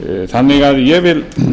þannig að ég vil